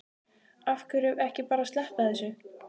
Af hverju ekki bara að sleppa þessu?